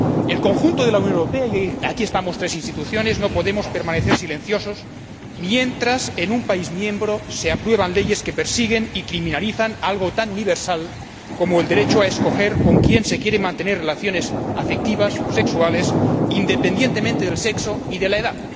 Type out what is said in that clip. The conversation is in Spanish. El conjunto de la Unión Europea —y aquí estamos tres Instituciones— no puede permanecer silencioso mientras en un Estado miembro se aprueban leyes que persiguen y criminalizan algo tan universal como el derecho a escoger con quién se quiere mantener relaciones afectivas o sexuales, independientemente del sexo y de la edad.